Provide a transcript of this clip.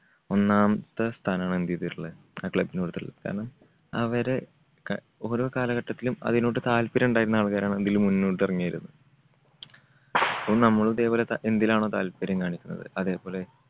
ഒന്നാമത്തെ സ്ഥാനാണ് എന്ത് ചെയ്തിട്ടുള്ളേ? athlete നുകൊടുത്തിട്ടുള്ളത്. കാരണം അവരെ ക ഓരോ കാലഘട്ടത്തിലും അതിനോട് താല്പര്യം ഉണ്ടായിരുന്ന ആൾക്കാരാണ് ഇതില് മുന്നോട്ട് ഇറങ്ങിയത്, അപ്പോ നമ്മളിപ്പം ഇവിടെ ക എന്തിലാണോ താല്പര്യം കാണിക്കുന്നത് അതേപോലെ